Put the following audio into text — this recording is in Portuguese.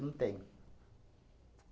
Não tem.